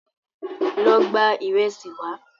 Lọ gba ìrẹsì wá